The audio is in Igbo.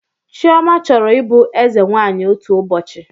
Chioma chọrọ ịbụ eze nwanyị otu ụbọchị